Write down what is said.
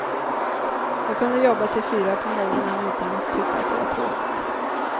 Jag kunde jobba till fyra på morgonen utan att tycka det var tråkigt.